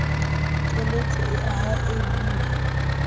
keletso e ahang e buang